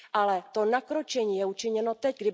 Ale to nakročení je učiněno teď.